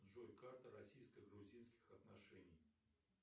джой карта российско грузинских отношений